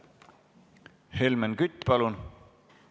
Helmen Kütt, palun!